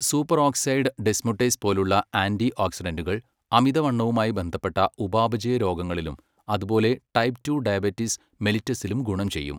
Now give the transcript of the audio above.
Superoxide dismutase പോലുള്ള ആന്റിഓക്സിഡന്റുകൾ അമിതവണ്ണവുമായി ബന്ധപ്പെട്ട ഉപാപചയ രോഗങ്ങളിലും അതുപോലെ ടൈപ്പ് റ്റു ഡയബറ്റിസ് മെലിറ്റസിലും ഗുണം ചെയ്യും.